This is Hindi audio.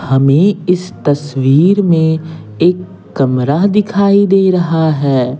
हमें इस तस्वीर में एक कमरा दिखाई दे रहा है।